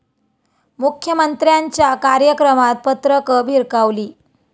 मुख्यमंत्र्यांच्या कार्यक्रमात पत्रकं भिरकावली